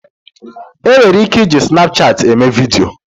E nwere ike iji snapchat eme video.